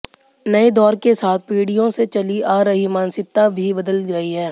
नए दौर के साथ पीढ़ियों से चली आ रही मानसिकता भी बदल रही है